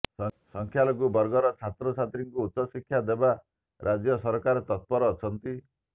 ସଂଖ୍ୟାଲଘୁ ବର୍ଗର ଛାତ୍ରଛାତ୍ରୀଙ୍କୁ ଉଚ୍ଚଶିକ୍ଷା ଦେବା ରାଜ୍ୟ ସରକାର ତତ୍ପର ଅଛନ୍ତି